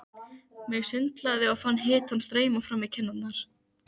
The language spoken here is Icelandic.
Mig sundlaði og fann hitann streyma fram í kinnarnar.